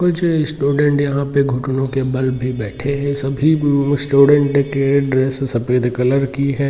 कुछ स्टूडेंट यहां पर घुटनों के बल भी बैठे हुए हैंस्टूडेंट की ड्रेस सफेद कलर की है।